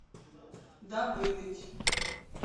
давидыч